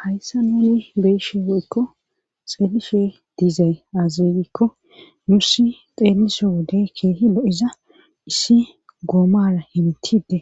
Hayssa nouni beeshe woykko xeelifhe diizay aziikko nuussi xeeliso wodey keehi lo'iza issi goomara hentide